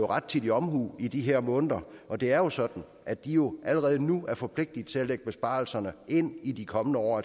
rettidig omhu i de her måneder og det er jo sådan at de allerede nu er forpligtet til at lægge besparelserne ind i de kommende år